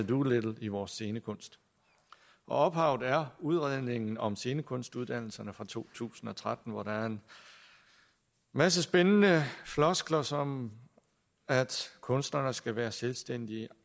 doolittle i vores scenekunst ophavet er udredningen om scenekunstuddannelserne fra to tusind og tretten hvor der er en masse spændende floskler som at kunsterne skal være selvstændige